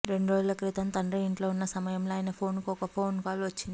రెండురోజుల క్రితం తండ్రి ఇంట్లో ఉన్న సమయంలో ఆయన ఫోన్ కు ఒక కాల్ వచ్చింది